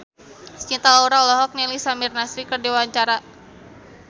Cinta Laura olohok ningali Samir Nasri keur diwawancara